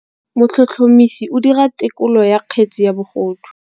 Motlhotlhomisi o dira têkolô ya kgetse ya bogodu.